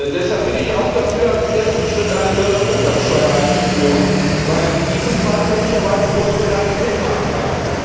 Deshalb bin ich auch dafür, als ersten Schritt eine Börsenumsatzsteuer einzuführen, weil in diesem Fall möglicherweise Großbritannien mitmachen kann.